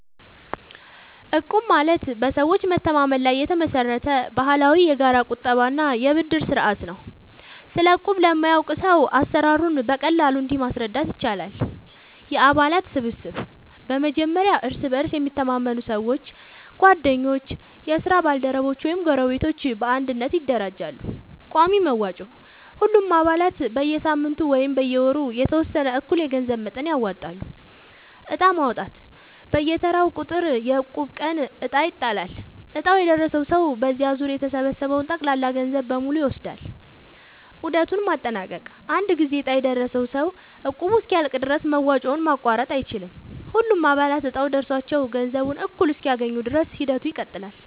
እቁብ ማለት በሰዎች መተማመን ላይ የተመሰረተ ባህላዊ የጋራ ቁጠባ እና የብድር ስርዓት ነው። ስለ እቁብ ለማያውቅ ሰው አሰራሩን በቀላሉ እንዲህ ማስረዳት ይቻላል፦ የአባላት ስብስብ፦ በመጀመሪያ እርስ በእርስ የሚተማመኑ ሰዎች (ጓደኞች፣ የስራ ባልደረቦች ወይም ጎረቤቶች) በአንድነት ይደራጃሉ። ቋሚ መዋጮ፦ ሁሉም አባላት በየሳምንቱ ወይም በየወሩ የተወሰነ እኩል የገንዘብ መጠን ያወጣሉ። ዕጣ ማውጣት፦ በየተራው ቁጥር (የእቁብ ቀን) ዕጣ ይጣላል፤ ዕጣው የደረሰው ሰው በዚያ ዙር የተሰበሰበውን ጠቅላላ ገንዘብ በሙሉ ይወስዳል። ዑደቱን ማጠናቀቅ፦ አንድ ጊዜ ዕጣ የደረሰው ሰው እቁቡ እስኪያልቅ ድረስ መዋጮውን ማቋረጥ አይችልም። ሁሉም አባላት እጣው ደርሷቸው ገንዘቡን እኩል እስኪያገኙ ድረስ ሂደቱ ይቀጥላል።